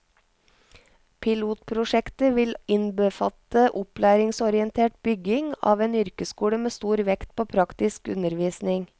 Pilotprosjektet vil innbefatte opplæringsorientert bygging av en yrkesskole med stor vekt på praktisk undervisning.